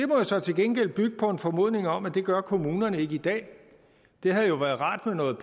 jo så til gengæld bygge på en formodning om at det gør kommunerne ikke i dag det havde jo være rart med noget